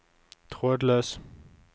trådløs